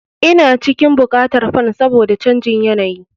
Ina cikin buƙatar fan saboda canjin yanayi.